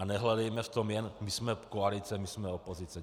A nehledejme v tom jenom, my jsme koalice, my jsme opozice.